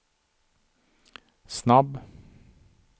snabb